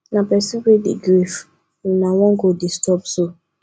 na pesin wey dey grief una wan go disturb so